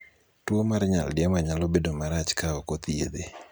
tuo mar nyaldiema nyalo bedo marach ka ok othiedhe